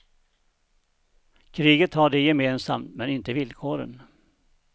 Kriget har de gemensamt, men inte villkoren.